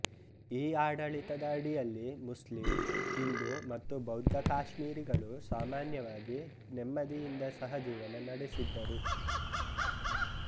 ಈ ಆಡಳಿತದ ಅಡಿಯಲ್ಲಿ ಮುಸ್ಲಿಂ ಹಿಂದೂ ಮತ್ತು ಬೌದ್ಧ ಕಾಶ್ಮೀರಿಗಳು ಸಾಮಾನ್ಯವಾಗಿ ನೆಮ್ಮದಿಯಿಂದ ಸಹಜೀವನ ನಡೆಸಿದ್ದರು